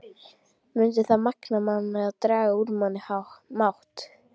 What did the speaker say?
Mundi það magna mann eða draga úr manni mátt?